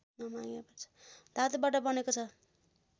धातुबाट बनेको छ